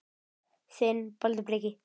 Þinn, Baldur Breki.